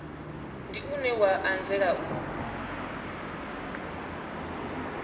ndi une wa anzela u